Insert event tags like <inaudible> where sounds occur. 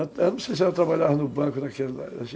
Eu não sei se ela trabalhava no banco <unintelligible>